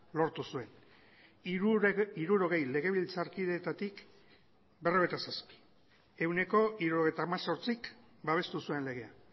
lortu zuen hirurogei legebiltzarkideetatik berrogeita zazpi ehuneko hirurogeita hemezortzik babestu zuen legea